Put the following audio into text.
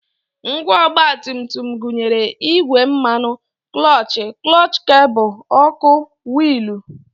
Ngwa ọgbatumtum gụnyere igbe mmanụ, klọọchị, klọọchị kebụl, ọkụ, wiilụ